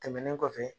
Tɛmɛnen kɔfɛ